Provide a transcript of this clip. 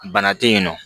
Bana te yen nɔ